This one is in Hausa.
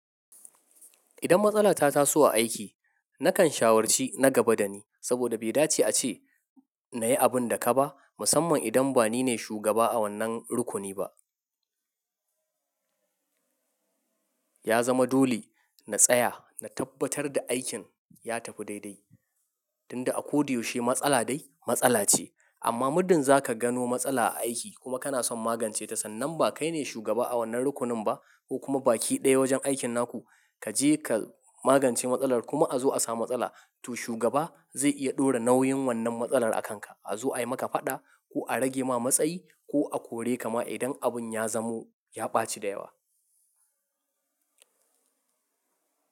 Idan matsala ta taso a aiki, nakan shawarci na gaba dani saboda bai dace a ce nayi abun da kaba musamman idan ba nine shugaba a wannan rukuni ba. Ya zama dole na tsaya na tabbatar da aikin ya tafi daidai, tunda a ko da yaushe matsala dai matsala ce. Amma muddin zaka gano matsala a aiki kuma kana son magance ta sannan ba kai ne shugaba a wannan rukunin ba ko kuma baki ɗaya wajen aikin naku kaje ka magance matsalar kuma a zo a samu matsala to shugaba zai iya ɗora nauyin wannan matsalar a kan ka. A zo ayi maka faɗa ko a rage ma matsayi ko a kore ka ma idan abun ya zamo ya ɓaci da yawa.